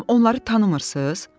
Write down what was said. Bəyəm onları tanımırsız?